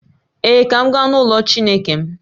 Ee, ka m gaa n’ụlọ Chineke m